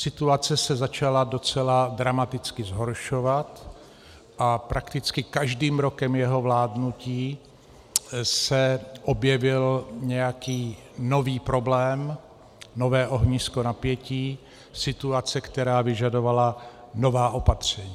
Situace se začala docela dramaticky zhoršovat a prakticky každým rokem jeho vládnutí se objevil nějaký nový problém, nové ohnisko napětí, situace, která vyžadovala nová opatření.